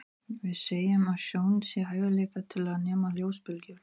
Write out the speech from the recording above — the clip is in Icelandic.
Við segjum að sjón sé hæfileikinn til að nema ljósbylgjur.